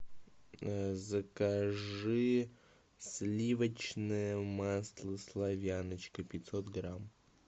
закажи сливочное масло славяночка пятьсот грамм